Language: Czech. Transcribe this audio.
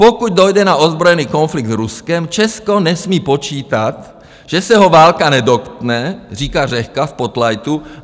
Pokud dojde na ozbrojený konflikt s Ruskem, Česko nesmí počítat, že se ho válka nedotkne, říká Řehka v spotlightu.